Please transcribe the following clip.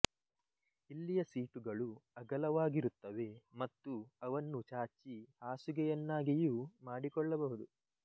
ಇಲ್ಲಿಯ ಸೀಟುಗಳು ಅಗಲವಾಗಿರುತ್ತವೆ ಮತ್ತು ಅವನ್ನು ಚಾಚಿ ಹಾಸುಗೆಯನ್ನಾಗಿಯೂ ಮಾಡಿಕೊಳ್ಳಬಹುದು